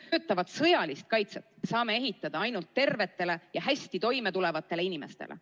Toimiva sõjalise kaitse saame ehitada ainult tervetele ja hästi toime tulevatele inimestele.